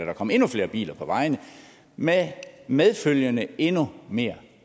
er kommet endnu flere biler på vejene med medfølgende endnu mere